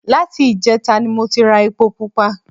Láti ìjẹta ni mo ti ra epo pupa